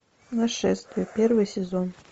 нашествие первый сезон